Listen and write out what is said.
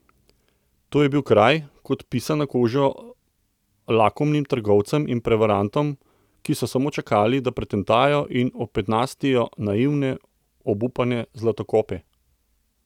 To je bil kraj, kot pisan na kožo lakomnim trgovcem in prevarantom, ki so samo čakali, da pretentajo in opetnajstijo naivne, obupane zlatokope.